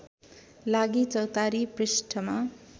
लागी चौतारी पृष्ठमा